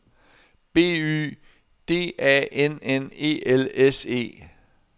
B Y D A N N E L S E